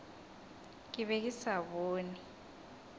ke be ke sa bone